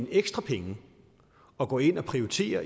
ekstra penge og gå ind og prioritere